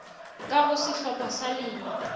ka go sehlopha sa lena